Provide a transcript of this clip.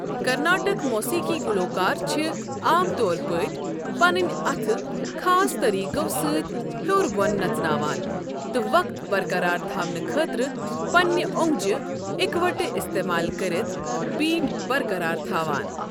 کرناٹک موسیقی گلوکار چھِ عام طور پٲٹھۍ پنٕنۍ اتھہٕ خاص طریقو سۭتۍ ہیوٚر بوٚن نژناوان تہٕ وقت برقرار تھاونہٕ خٲطرٕ پننِہ اونگجہِ اکوٹہٕ استعمال کٔرتھ بیٖٹ برقرار تھاوان۔